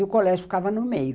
E o colégio ficava no meio.